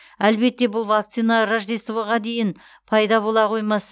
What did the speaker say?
әлбетте бұл вакцина рождествоға дейін пайда бола қоймас